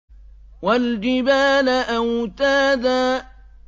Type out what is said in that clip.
وَالْجِبَالَ أَوْتَادًا